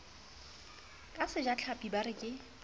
ka sejatlhapi ba re ke